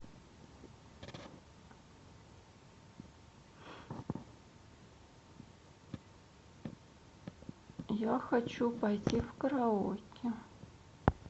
я хочу пойти в караоке